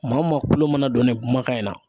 Maa o maa kulo mana don ne kumakan in na.